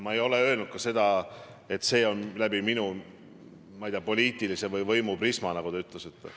Ma ei ole öelnud ka seda, et ma näen kõike läbi, ma ei tea, poliitilise või võimuprisma, nagu te ütlesite.